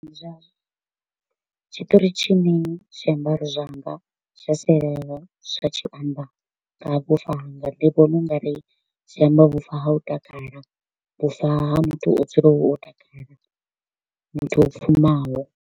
Tshiṱori tshine zwiambaro zwanga zwa sialala zwa tshi amba nga ha vhufa hanga ndi vhona u nga ri zwi amba vhufa ha u takala, vhufa ha muthu wa u dzula o takala, muthu o pfumaho.